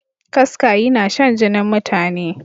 Kaska yinashan jinin mutane.